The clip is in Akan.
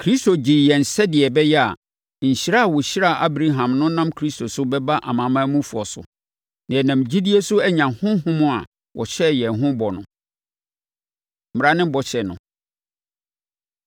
Kristo gyee yɛn sɛdeɛ ɛbɛyɛ a, nhyira a wɔhyiraa Abraham no nam Kristo so bɛba amanamanmufoɔ so, na yɛnam gyidie so anya Honhom a wɔhyɛɛ yɛn ho bɔ no. Mmara Ne Bɔhyɛ No